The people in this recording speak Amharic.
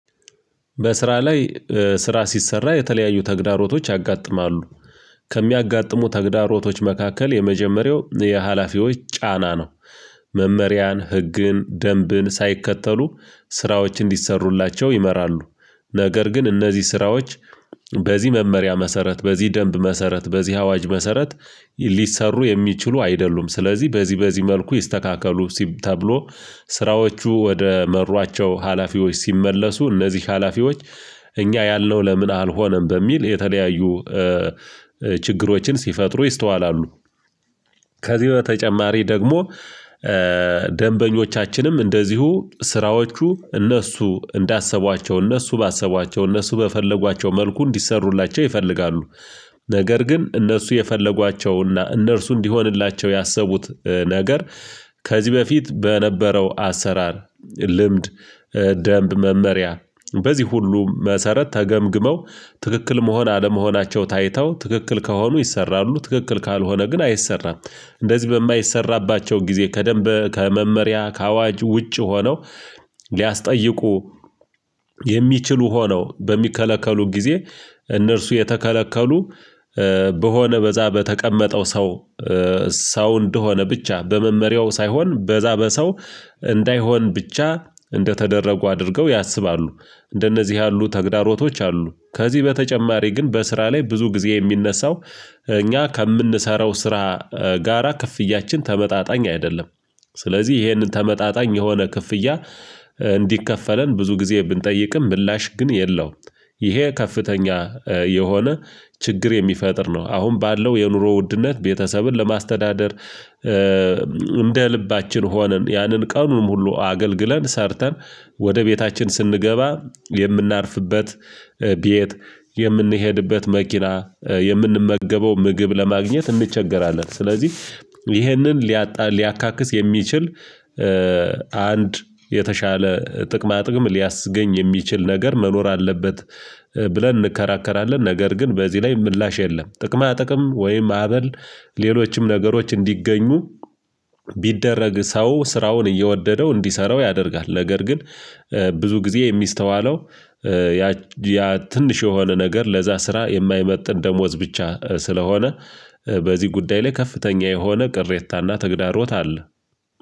በስራ ላይ ስራ ሲሰራ የተለያዩ ተግዳሮቶች ያጋጥማሉ ከሚያጋጥሙ ተግዳሮቶች መካከል የመጀመሪያው የሀላፊዎች ጫና ነው። መመሪያን ህግን ደንብን ሳይከተሉ ስራዎች እንዲሰሩላቸው ይመራሉ ነገር ግን እነዚህ ስራዎች በዚህ መመሪያ መሰረት በዚህ ደንብ መሰረት በዚህ አዋጅ መሰረት ሊሰሩ የሚችሉ አይደሉም ስለዚህ በዚህ በዚህ መልኩ ይስተካከሉ ተብሎ ስራዎቹ ወደ መሯቸው ሀላፊዎች ሲመለሱ እነዚህ ሀላፊዎች እኛ ያለው ለምን አልሆነም በሚል የተለያዩ ችግሮችን ሲፈጥሩ ይስተዋላሉ። ከዚህ በተጨማሪ ደግሞ ደንበኞቻችንም እንደዚሁ ስራዎቹ እነሱ እንዳሰቧቸው እነሱ ባሰቧቸው እነሱ በፈለጓቸው መልኩ እንዲሰሩላቸው ይፈልጋሉ። ነገር ግን እነርሱ የፈለጓቸውና እነርሱ እንዲሆንላቸው ያሰቡት ነገር ከዚህ በፊት በነበረው አሰራር ልምድ ደንብ መመሪያ በዚህ ሁሉ መሰረት ተገምግመው ትክክል መሆን አለመሆናቸው ታይተው ትክክል ከሆኑ ይሰራሉ ትክክል ካልሆነ ግን አይሰራም። እንደዚህ በማይሰራባቸው ጊዜ ከደንብ ከመመሪያ ከአዋጅ ውጪ ሆነው ሊያስጠይቁ የሚችሉ ሆኖው በሚከለከሉን ጊዜ እነርሱ የተከለከሉ በሆነ በዛ በተቀመጠው ሰው ሰው እንደሆነ ብቻ በመመሪያው ሳይሆን በዛ በሰው እንዳይሆን ብቻ እንደተደረጉ አድርገው ያስባሉ እንደነዚህ ያሉ ተግዳሮቶች አሉ። ከዚህ በተጨማሪ ግን በስራ ላይ ብዙ ጊዜ የሚነሳው እኛ ከምንሰራው ስራ ጋራ ክፍያችን ተመጣጣኝ አይደለም። ስለዚህ ይሄንን ተመጣጣኝ የሆነ ክፍያ እንዲከፈለን ብዙ ጊዜ ብንጠይቅም ምላሽ ግን የለውም። ይሄ ከፍተኛ የሆነ ችግር የሚፈጥር ነው አሁን ባለው የኑሮ ውድነት ቤተሰብን ለማስተዳደር እንደ ልባችን ሆነን ያንን ቀኑንም ሙሉ አገልግለን ሰርተን ወደ ቤታችን ስንገባ የምናርፍበት ቤት የምንሄድበት መኪና የምንመገበው ምግብ ለማግኘት እንቸገራለን ስለዚህ ይህንን ሊያጣ ሊያካክስ የሚችል አንድ የተሻለ ጥቅማ ጥቅም ሊያስገኝ የሚችል ነገር መኖር አለበት። ብለን እንከራከራለን ነገር ግን በዚህ ላይ ምላሽ የለም። ጥቅማ ጥቅም ወይም ዓበል ሌሎችም ነገሮች እንዲገኙ ቢደረግ ሰው ስራውን እየወደደው እንዲሰራው ያደርጋል ነገር ግን ብዙ ጊዜ የሚስተዋለው ያ ትንሽ የሆነ ነገር ለዛ ስራ የማይመጥን ደሞዝ ብቻ ስለሆነ በዚህ ጉዳይ ላይ ከፍተኛ የሆነ ቅሬታና ተግዳሮት አለ።